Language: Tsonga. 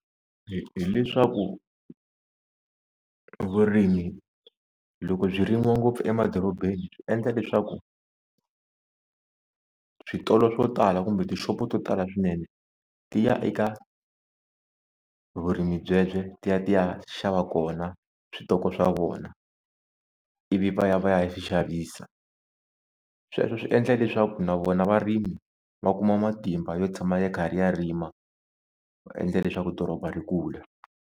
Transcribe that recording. hileswaku vurimi loko byi rimiwa ngopfu emadorobeni byi endla leswaku switolo swo tala kumbe tixopo to tala swinene ti ya eka vurimi byebye ti ya ti ya xava kona switoko swa vona ivi va ya va ya swi xavisa, sweswo swi endla leswaku na vona varimi va kuma matimba yo tshama ya karhi ya rima va endla leswaku doroba ri kula.